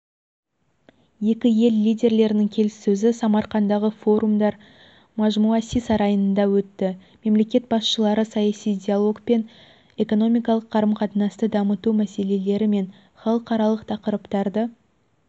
екі ел лидерлерінің келіссөзі самарқандағы форумлар мажмуаси сарайында өтті мемлекет басшылары саяси диалог мен экономикалық қарым-қатынасты дамыту мәселелері мен халықаралық тақырыптарды